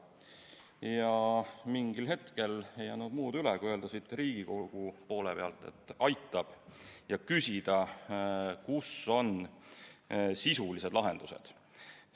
Ja mingil hetkel ei jäänud muud üle, kui öelda siit Riigikogu poole pealt, et aitab, ja küsida, kus on sisulised lahendused.